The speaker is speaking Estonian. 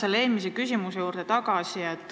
Ma tulen eelmise küsimuse juurde tagasi.